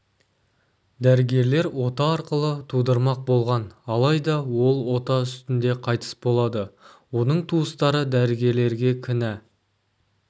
дәрігерлер ота арқылы тудырмақ болған алайда ол ота үстінде қайтыс болады оның туыстары дәрігерлерге кінә